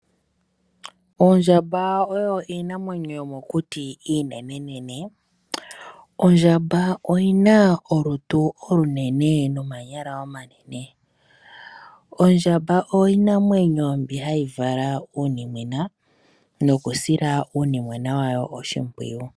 Oondjamba odho iinamwenyo yomokuti iinenenene. Ondjamba oyina olutu olunene nomakondo omanene. Ondjamba iinamwenyo mbi hayi vala uunimwena nohayi wu sile oshipwiyu.